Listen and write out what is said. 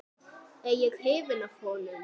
Er ég hrifinn af honum?